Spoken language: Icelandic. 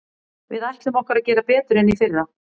Við ætlum okkur að gera betur en í fyrra.